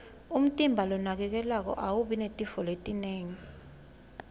umtimba lonakekelwako awubi netifo letinengi